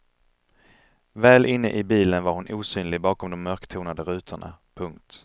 Väl inne i bilen var hon osynlig bakom de mörktonade rutorna. punkt